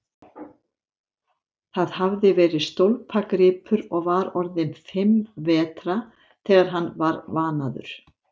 Það hafði verið stólpagripur og var orðinn fimm vetra þegar hann var vanaður.